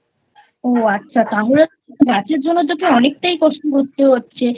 ও আচ্ছা তাহলে তো গাছের জন্য তোকে অনেকটাই কষ্ট করতে হচ্ছে